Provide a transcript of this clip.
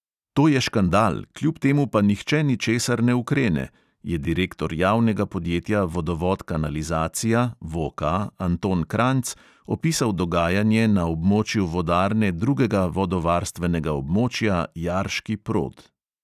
To je škandal, kljub temu pa nihče ničesar ne ukrene, je direktor javnega podjetja vodovod-kanalizacija (vo-ka) anton kranjc opisal dogajanje na območju vodarne drugega vodovarstvenega območja jarški prod.